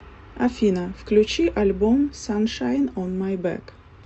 афина включи альбом саншайн он май бэк